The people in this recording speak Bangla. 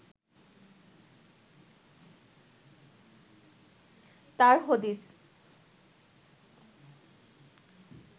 তার হদিস